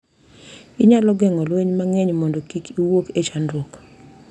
Onyalo geng’o lwenje mang’eny mondo kik owuok e chakruok.